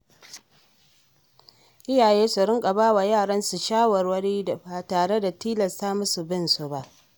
Iyaye su riƙa bawa yaransu shawarwari ba tare da tilasta musu bin su ba.